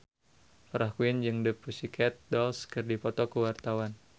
Farah Quinn jeung The Pussycat Dolls keur dipoto ku wartawan